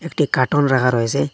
একটি কার্টুন রাখা রয়েসে।